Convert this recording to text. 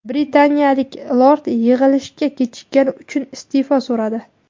Britaniyalik lord yig‘ilishga kechikkani uchun iste’fo so‘radi .